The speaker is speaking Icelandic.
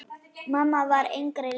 Mamma var engri lík.